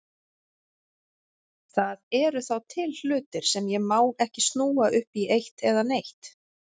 Það eru þá til hlutir sem ég má ekki snúa upp í eitt eða neitt.